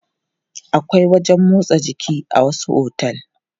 Akwai wajen motsa jiki a wasu otel.